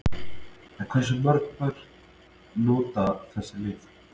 En hversu mörg börn nota þessi lyf?